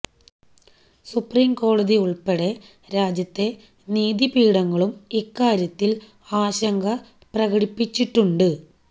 supreme കോടതി ഉള്പ്പെടെ രാജ്യത്തെ നീതിപീഠങ്ങളും ഇക്കാര്യത്തില് ആശങ്ക പ്രകടിപ്പിച്ചിട്ടുണ്ട്